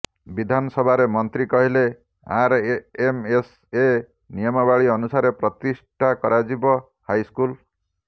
ବିଧାନସଭାରେ ମନ୍ତ୍ରୀ କହିଲେ ଆରଏମଏସଏ ନିୟମାବଳୀ ଅନୁସାରେ ପ୍ରତିଷ୍ଠା କରାଯିବ ହାଇସ୍କୁଲ